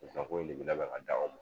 Zan ko in de bi labɛn k'a d'aw ma